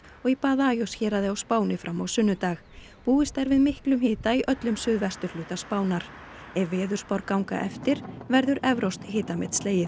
og í Badajoz héraði á Spáni fram á sunnudag búist er við miklum hita á suðvesturhluta Spánar ef veðurspár ganga eftir verður evrópskt hitamet slegið